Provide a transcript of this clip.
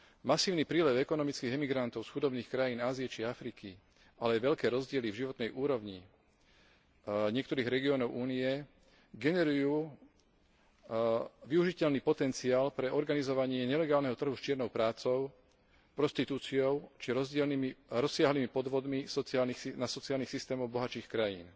Masívny prílev ekonomických emigrantov z chudobných krajín Ázie či Afriky, ale aj veľké rozdiely v životnej úrovni niektorých regiónov Únie generujú využiteľný potenciál pre organizovanie nelegálneho trhu s čiernou prácou, prostitúciou či rozsiahlymi podvodmi na sociálnych systémoch bohatších krajín.